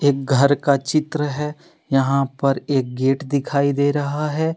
घर का चित्र है यहां पर एक गेट दिखाई दे रहा है।